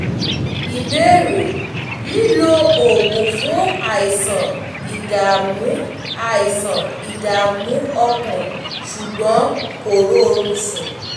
ìbéèrè: lílo oògùn fún àìsàn ìdààmú àìsàn ìdààmú ọkàn ṣùgbọ́n kò rórun sùn